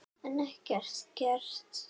En ekkert gert.